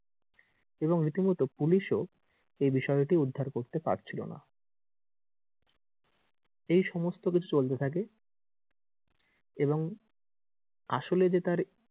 এবং রীতিমতো পুলিশ ও এই বিষয় টি উদ্ধার করতে পারছিলোনা এই সমস্ত কিছু চলতে থাকে এবং আসলে যে তার,